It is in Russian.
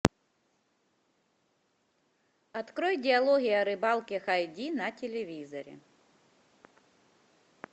открой диалоги о рыбалке хай ди на телевизоре